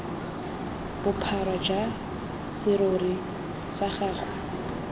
bophara jwa serori sa gagwe